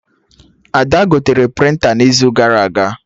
Ada gotere prịnta n'izu gara aga